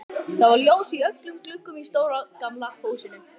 Það var ljós í öllum gluggum á stóra, gamla húsinu.